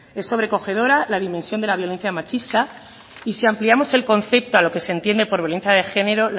es sobrecogedora la dimensión de la violencia machista y si ampliamos el concepto a lo que se entiende por violencia de género